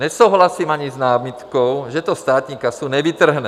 Nesouhlasím ani s námitkou, že to státní kasu nevytrhne.